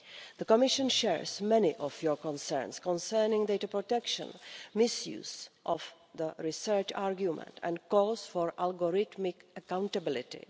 The Commission shares many of your concerns concerning data protection and misuse of the research argument, and calls for algorithmic accountability.